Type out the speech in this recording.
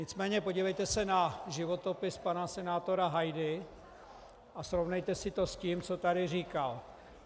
Nicméně podívejte se na životopis pana senátora Hajdy a srovnejte si to s tím, co tady říkal.